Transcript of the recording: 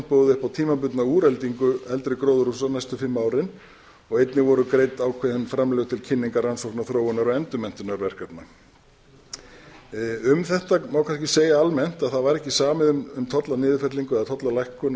boðið upp á tímabundna úreldingu eldri gróðurhúsa næstu fimm árin einnig voru greidd ákveðin framlög til kynningar rannsókna þróunar og endurmenntunarverkefna um þetta má kannski segja almennt að það var ekki samið um tollaniðurfellingu eða tollalækkun